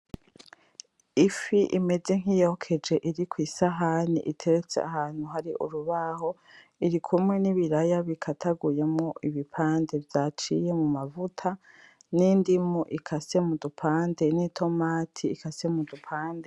Ifi imeze nkiyokeje iri kw'isahani iteretse ahantu hari urubaho irikumwe nibiraya bikataguyemwo ibipande vyaciye mu mavuta n'indimu ikasa mudupande n'itomate ikase mudupande.